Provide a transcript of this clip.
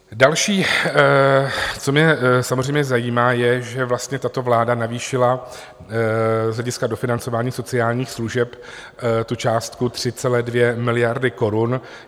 Další, co mě samozřejmě zajímá, je, že vlastně tato vláda navýšila z hlediska dofinancování sociálních služeb částku 3,2 miliardy korun.